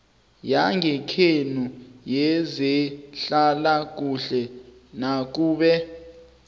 yangekhenu yezehlalakuhle nakube